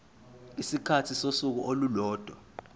isikhathi sosuku olulodwa